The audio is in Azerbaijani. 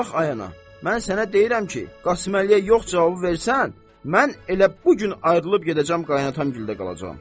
Bax, ay ana, mən sənə deyirəm ki, Qasıməlliyə yox cavabı versən, mən elə bu gün ayrılıb gedəcəm qaynanam gildə qalacam.